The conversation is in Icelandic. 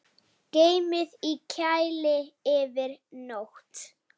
Geymið í kæli yfir nótt.